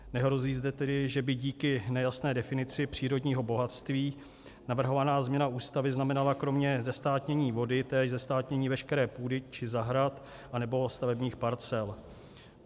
Nehrozí zde tedy, že by díky nejasné definici přírodního bohatství navrhovaná změna Ústavy znamenala kromě zestátnění vody též zestátnění veškeré půdy či zahrad anebo stavebních parcel.